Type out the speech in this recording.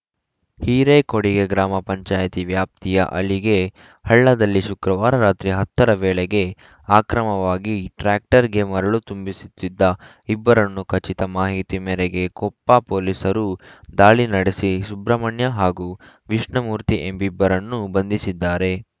ಹೀರೇಕೊಡಿಗೆ ಗ್ರಾಮ ಪಂಚಾಯಿತಿ ವ್ಯಾಪ್ತಿಯ ಅಲಿಗೆ ಹಳ್ಳದಲ್ಲಿ ಶುಕ್ರವಾರ ರಾತ್ರಿ ಹತ್ತ ರ ವೇಳೆಗೆ ಆಕ್ರಮವಾಗಿ ಟ್ರ್ಯಾಕ್ಟರ್‌ಗೆ ಮರಳು ತುಂಬಿಸುತ್ತಿದ್ದ ಇಬ್ಬರನ್ನು ಖಚಿತ ಮಾಹಿತಿ ಮೇರೆಗೆ ಕೊಪ್ಪ ಪೊಲೀಸರು ದಾಳಿ ನಡೆಸಿ ಸುಬ್ರಹ್ಮಣ್ಯ ಹಾಗೂ ವಿಷ್ಣುಮೂರ್ತಿ ಎಂಬಿಬ್ಬರನ್ನು ಬಂಧಿಸಿದ್ದಾರೆ